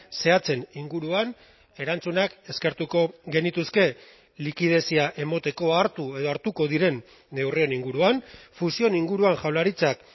zehatzen inguruan erantzunak eskertuko genituzke likidezia emateko hartu edo hartuko diren neurrien inguruan fusioen inguruan jaurlaritzak